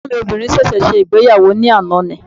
Ẹ̀gbọ́n mi obìnrin sẹ̀sẹ̀ ṣe ìgbéyàwó ní àná ni